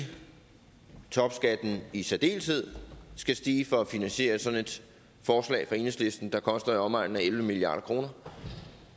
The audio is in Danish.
og topskatten i særdeleshed skal stige for at finansiere sådan et forslag fra enhedslisten der koster i omegnen af elleve milliard kroner